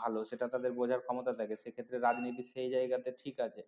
ভালো সেটা তাদের বোঝার ক্ষমতা থাকে সেক্ষেত্রে রাজনীতি সেই জায়গাতে ঠিক আছে